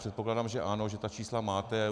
Předpokládám, že ano, že ta čísla máte.